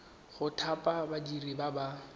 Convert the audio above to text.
go thapa badiri ba ba